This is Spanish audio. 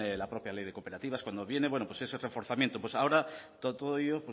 la propia ley de cooperativas cuando viene pues es otro forzamiento pues ahora todo ello